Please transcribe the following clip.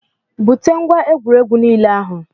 Bute ngwá egwuregwu nile ahụ